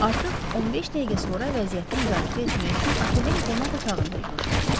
Artıq 15 dəqiqə sonra vəziyyəti müzakirə etmək üçün otelin qonaq otağında yığışmışdıq.